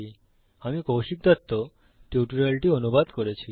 আমি কৌশিক দত্ত টিউটোরিয়ালটি অনুবাদ করেছি